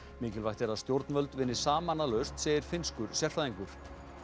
mikilvægt er að stjórnvöld vinni saman að lausn segir finnskur sérfræðingur